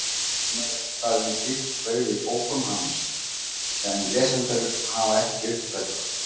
Enn er eitthvað um slíkt spaug í bókum hans sem lesendur hafa ekki uppgötvað.